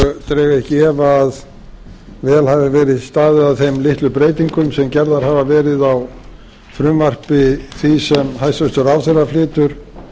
og dreg ekki í efa að vel hafi verið staðið að þeim litlu breytingum sem gerðar hafa verið á frumvarpi því sem hæstvirtur ráðherra flytur